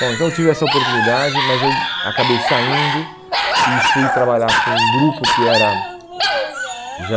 Bom, então eu tive essa oportunidade, mas eu acabei saindo e fui trabalhar com um grupo que era já...